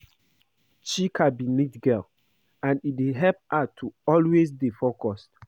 Chika be neat girl and e dey help her to always dey focused